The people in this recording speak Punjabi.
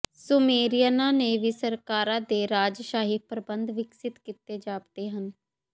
ਸੁਮੇਰੀਅਨਾਂ ਨੇ ਵੀ ਸਰਕਾਰਾਂ ਦੇ ਰਾਜਸ਼ਾਹੀ ਪ੍ਰਬੰਧ ਵਿਕਸਿਤ ਕੀਤੇ ਜਾਪਦੇ ਹਨ